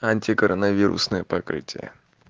анти коронавирусная покрытие